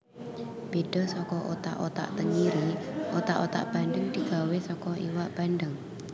Beda saka otak otak tengiri otak otak bandheng digawé saka iwak bandheng